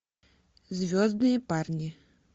звездные парни